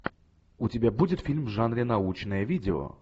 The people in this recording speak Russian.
у тебя будет фильм в жанре научное видео